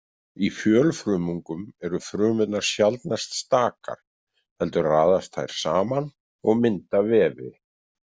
Í fjölfrumungum eru frumurnar sjaldnast stakar heldur raðast þær saman og mynda vefi.